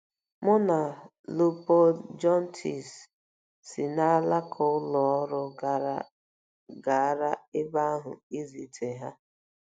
Mụ na Léopold Jontès si n'alaka ụlọ ọrụ gara ebe ahụ izute ha.